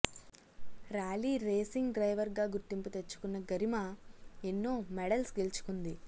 rally racing driver గా గుర్తింపు తెచ్చుకున్న గరిమా ఎన్నో మెడల్స్ గెల్చుకుంది